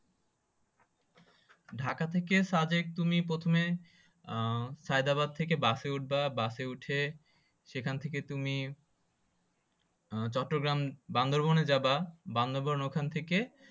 ঢাকা থেকে সাদেক তুমি প্রথমে আহ হায়দ্রাবাদ থেকে বাসে উঠবা বাসে উঠে সেখান থেকে তুমি চট্টগ্রাম বান্দরবনে যাবা, বান্দরবনের ওখান থেকে